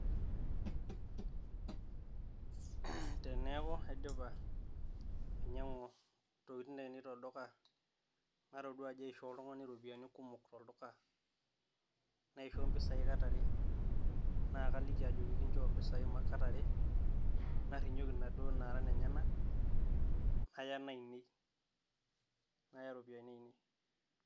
Aarh, teneeku aidipa ainyiang'u Intokitin ainei tolduka natodua ajo aishoo oltung'ani iropiyiani kumok tolduka, naisho impisai Kata are naa kaliki ajoki kinchoo impisai Kata are, narrinyoki inaduo naara inenyenak naya inainei, naya iropiyiani ainei.